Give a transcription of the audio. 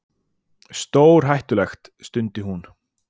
Stórhættulegt. stundi hún.